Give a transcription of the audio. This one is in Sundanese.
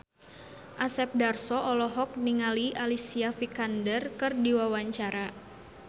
Asep Darso olohok ningali Alicia Vikander keur diwawancara